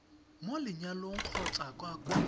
mo lenyalong kgotsa ka kwa